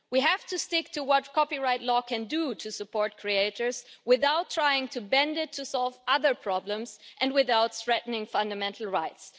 We have to stick to what copyright law can do to support creators without trying to bend it to solve other problems and without threatening fundamental rights.